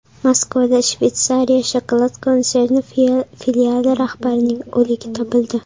Moskvada Shveysariya shokolad konserni filiali rahbarining o‘ligi topildi.